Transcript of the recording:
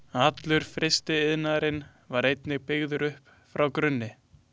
Allur frystiiðnaðurinn var einnig byggður upp frá grunni.